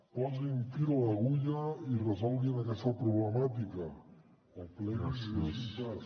posin fil a l’agulla i resolguin aquesta problemàtica o pleguin i deixin pas